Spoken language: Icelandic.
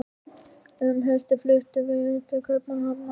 Um haustið fluttumst við til Kaupmannahafnar.